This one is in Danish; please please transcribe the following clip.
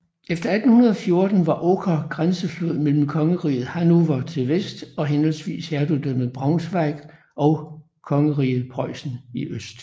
Efter 1814 var Oker grænseflod mellem kongeriget Hannover i vest og henholdsvis hertugdømmet Braunschweig og kongeriget Preussen i øst